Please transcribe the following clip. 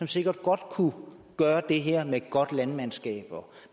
sikkert godt kunne gøre det her med et godt landmandskab og